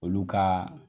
Olu ka